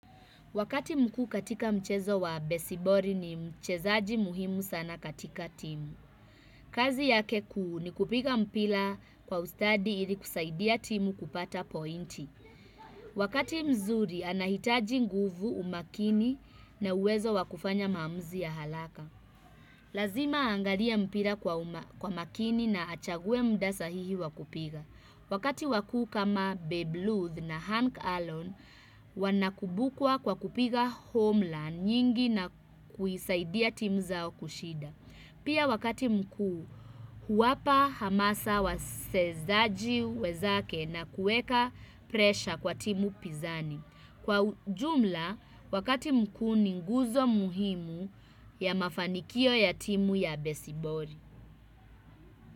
Wakati mkuu katika mchezo wa besibori ni mchezaji muhimu sana katika timu. Kazi yake kuu ni kupiga mpila kwa ustadi ili kusaidia timu kupata pointi. Wakati mzuri anahitaji nguvu umakini na uwezo wa kufanya maamuzi ya halaka. Lazima aangalie mpira kwa uma kwa makini na achague mda sahihi wa kupiga. Wakati wakuu kama Babe Luth na Hank Allen wanakumbukwa kwa kupiga homeland nyingi na kuisaidia timu zao kushida. Pia wakati mkuu huwapa hamasa wasezaji wenzake na kueka presha kwa timu Pinzani. Kwa ujumla wakati mkuu ni nguzo muhimu ya mafanikio ya timu ya Besibori.